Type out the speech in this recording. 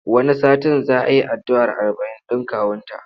Wani satin za a yi addu'ar arba'in ɗin kawunta.